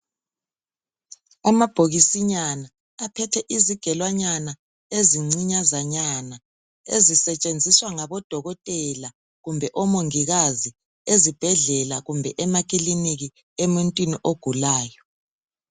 Amabhokisinyana aphethe izigelonyana ezincinyazanana ezisetshenziswa ngabo dokotela kumbe omongikazi ezibhedlela kumbe emakiliniki emuntwini ogulayo.